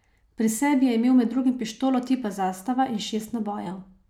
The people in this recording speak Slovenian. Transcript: Pri sebi je imel med drugim pištolo tipa zastava in šest nabojev.